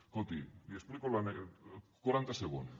escolti li explico l’anècdota quaranta segons